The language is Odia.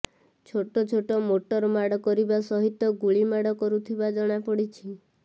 ଛୋଟ ଛୋଟ ମୋଟର ମାଡ଼ କରିବା ସହିତ ଗୁଳି ମାଡ଼ କରୁଥିବା ଜଣାପଡ଼ିଛି